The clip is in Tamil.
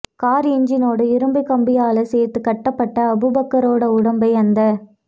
கார் என்ஜினோடு இரும்புக் கம்பியால சேர்த்துக் கட்டப்பட்ட அபுபக்கரோட உடம்பை அந்த